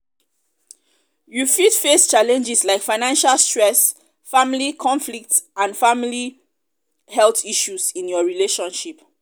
you fit face challenges like financial stresss family conflicts and family health issues in your relationship.